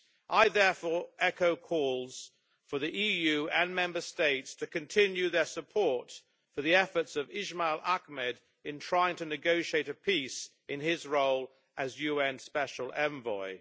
I therefore echo calls for the EU and Member States to continue their support for the efforts of Ismail Ahmed in trying to negotiate a peace in his role as UN Special Envoy.